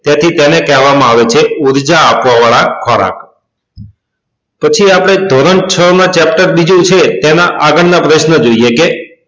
તેથી તેને કહેવા માં આવે છે ઉર્જા આપવા વાળા ખોરાક પછી આપડે ધોરણ છ માં chapter બીજું છે તેના આગળ ના પ્રશ્નો જોઈએ કે